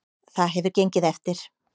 Það hefur gengið eftir.